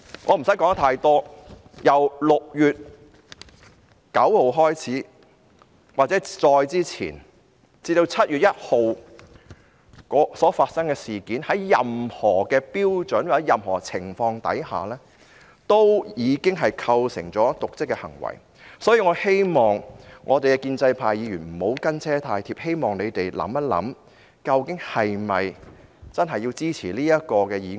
我不用說太多，由6月9日或再之前，至7月1日所發生的事件，在任何標準或任何情況下，已經構成瀆職行為，所以我希望建制派議員不要"跟車"太貼，希望他們想一想，其實是否應支持這項議案呢？